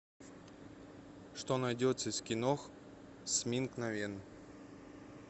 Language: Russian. что найдется из кинох с минг на вен